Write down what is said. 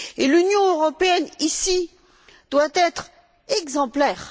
L'Union européenne, ici, doit être exemplaire.